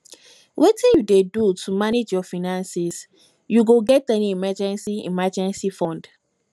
wetin you dey do to manage your finances you get any emergency emergency fund